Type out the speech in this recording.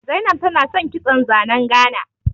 Zainab tana san kitson zanen Gana